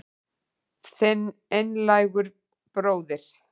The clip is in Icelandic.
Þinn einlægur bróðir